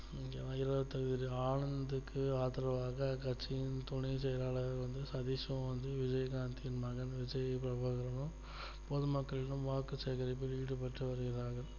ஈரோடு தொகுதியில் ஆனந்துக்கு ஆதரவாக கட்சியின் துணை செயலாளர் வந்து சதீஷ் வந்து விஜயகாந்த் மகன் விஜய் கோவர்தனம் பொதுமக்களுக்கு வாக்கு சேகரிக்க ஈடுபட்டு வருகிறார்கள்